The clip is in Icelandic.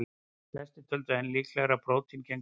Flestir töldu enn líklegra að prótín gegndu því hlutverki.